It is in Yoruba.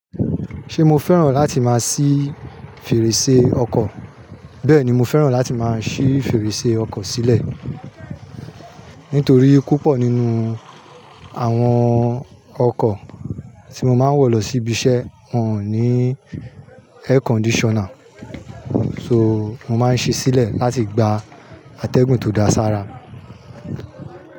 Ṣé mo fẹ́ràn láti máa sí fèrèsé ọkọ̀? Bẹ́ẹ̀ni, mo fẹ́ràn láti máa ṣī fèrèsé ọkọ̀ sílẹ̀. Nítorí púpọ̀ nínú àwọn ọkọ̀ tí mo máa ń wọ̀ lọ síbi iṣẹ́ wọn ò ní air conditioner. So, mo máa ń ṣíi sílẹ̀ láti gba atẹ́gùn tó dáa sára.